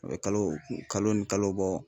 I bɛ kalo kalo ni kalo bɔ